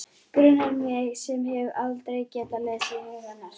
Grunar mig sem hef aldrei getað lesið hug hennar.